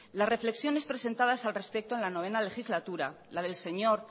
las reflexiones presentadas al respecto en la noveno legislatura la del señor